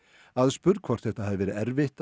aðspurð hvort þetta hafi verið erfitt